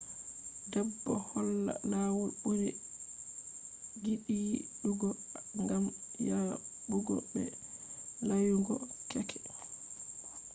bedo holla lawol buri gidiidugo gam yabugo be layugo keke